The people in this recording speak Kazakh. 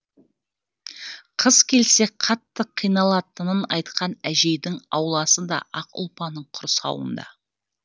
қыс келсе қатты қиналатынын айтқан әжейдің ауласы да ақ ұлпаның құрсауында